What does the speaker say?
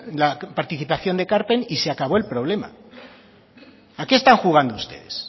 la participación de ekarpen y se acabó el problema a que están jugando ustedes